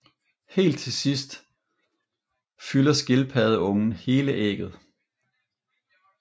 Helt til sidst fylder skilpaddeungen hele ægget